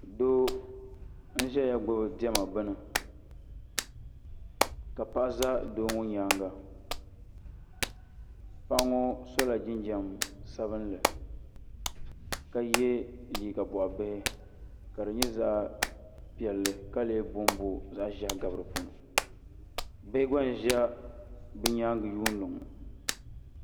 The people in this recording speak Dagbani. Doo n zɛya gbubi dɛma bini ka paɣa za doo ŋɔ yɛanga paɣa ŋɔ sola jinjam sabinli ka ye liiga bɔɣi bihi ka di nyɛ zaɣi piɛlli ka lee bo n bo zaɣi zɛhi gabi di puuni bihi gba n ziya bi yɛanga nyundi ŋɔ.